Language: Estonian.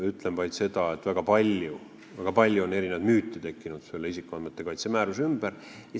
Ütlen vaid seda, et väga palju on erinevaid müüte tekkinud selle isikuandmete kaitse määruse ümber.